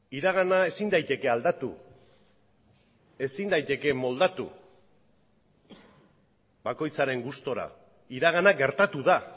iragana ezin daiteke aldatu ezin daiteke moldatu bakoitzaren gustura iragana gertatu da